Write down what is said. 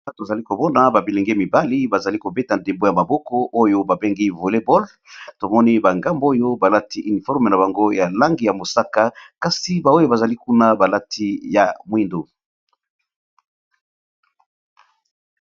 Awa tozali komona ba bilenge mibali bazali kobeta ndembo ya maboko oyo babengi voleboll tomoni ba ngambo oyo balati uniforme na bango ya langi ya mosaka kasi ba oyo bazali kuna balati ya mwindu.